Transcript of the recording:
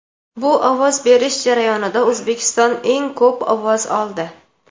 Bu ovoz berish jarayonida O‘zbekiston eng ko‘p ovoz oldi.